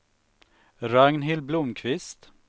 Ragnhild Blomkvist